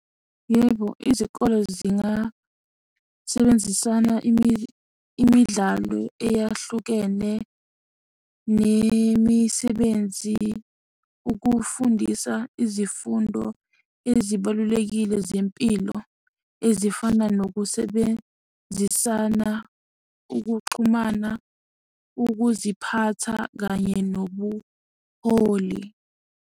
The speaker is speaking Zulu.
Yebo, izikole zingasebenzisana imidlalo eyahlukene nemisebenzi, ukufundisa izifundo ezibalulekile zempilo ezifana nokusebenzisana, ukuxhumana, ukuziphatha, kanye nobuholi.